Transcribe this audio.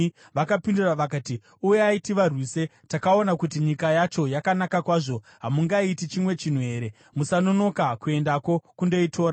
Vakapindura vakati, “Uyai, tivarwise! Takaona kuti nyika yacho yakanaka kwazvo. Hamungaiti chimwe chinhu here? Musanonoka kuendako kundoitora.